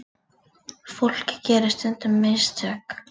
Fólk gerir stundum mistök.